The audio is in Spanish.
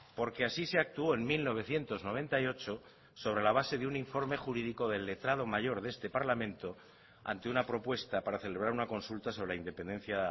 porque así se actuó en mil novecientos noventa y ocho sobre la base de un informe jurídico del letrado mayor de este parlamento ante una propuesta para celebrar una consulta sobre la independencia